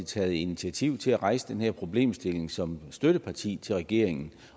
taget initiativ til at rejse den her problemstilling som støtteparti til regeringen